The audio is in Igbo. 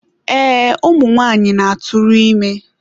Ee, ụmụ nwaanyị na-atụrụ ime.